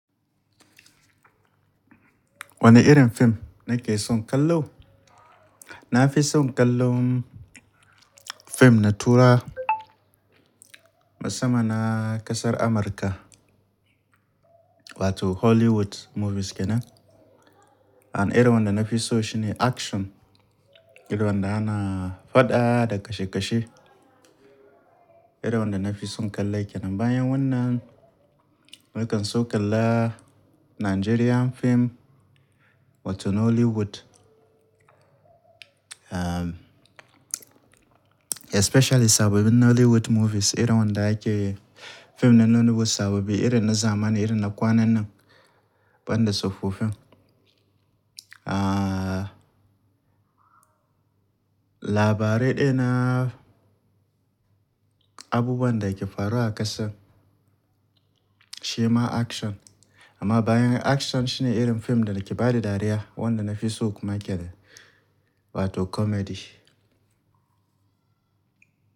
Wane irin fim nake son kallo? Na fi son kallon fim na Turawa, musamman na ƙasar Amurka, wato Hollywood movies kenan. An irin wanda na fi so shine action. Irin wanda ana faɗa da kashe-kashe. Irin wanda na fi son kalle kenan. Bayan wannan, nakan so kalla Nigerian fim wato Nollywood. Um, especially sabobin Nollywood movies. Irin wanda ake fim nanono bu sabobi. Irin na zamani, irin na kwanannan, ban da tsofaffin. Ah, labarai daya na abubuwan da yake faruwa a ƙasar, shi ma action. Amma bayan action shine irin fim da ake ba da dariya, wanda nafi so kuma yake da, wato comedy.